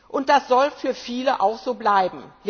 Und das soll für viele auch so bleiben.